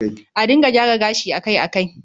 A dinga gyara gashi akai-akai